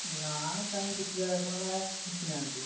ନା କାଇଁ କିଛି ତ ଏପର୍ଯ୍ୟନ୍ତ ହେଲାଇଁ ଆସିନାହାନ୍ତି।